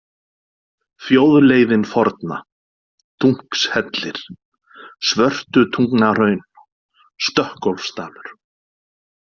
Þjóðleiðin forna, Dunkshellir, Svörtutungnahraun, Stökkólfsdalur